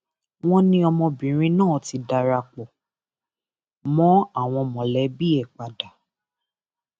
wọn ní ọmọbìnrin náà ti darapọ mọ àwọn mọlẹbí ẹ padà